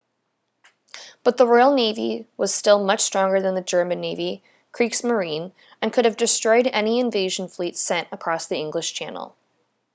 but the royal navy was still much stronger than the german navy kriegsmarine” and could have destroyed any invasion fleet sent across the english channel